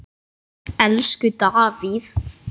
Elsku Davíð.